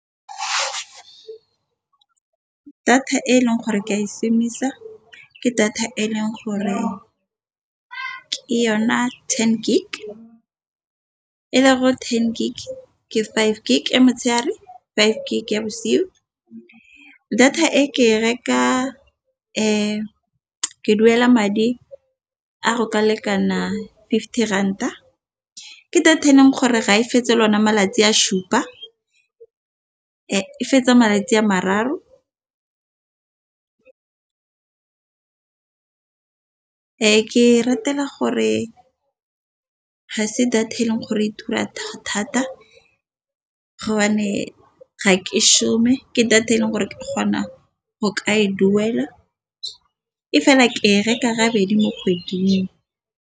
Data e leng gore ke ya e ke data eleng gore ke yona ten gig five gig motshegare, five gig ya bosigo data e ke reka ke duela madi a go ka lekana fifty ranta ke data e leng gore ga e fetse lona malatsi a supa. E fetsa malatsi a mararo, ke e ratela gore ga se data e leng gore e tura thata, ga ke shome ke data e leng gore ke krona go ka e duela e fela ke e reka bedi mo kgweding.